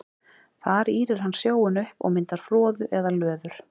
Þar ýrir hann sjóinn upp og myndar froðu eða löður.